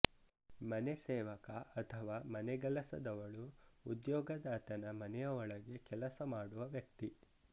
ಮನೆ ಸೇವಕ ಅಥವಾ ಮನೆಗೆಲಸದವಳು ಉದ್ಯೋಗದಾತನ ಮನೆಯ ಒಳಗೆ ಕೆಲಸಮಾಡುವ ವ್ಯಕ್ತಿ